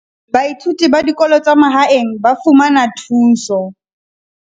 Baithuti ba dikolo tsa mahaeng ba fumana thuso